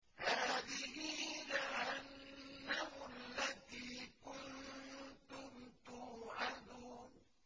هَٰذِهِ جَهَنَّمُ الَّتِي كُنتُمْ تُوعَدُونَ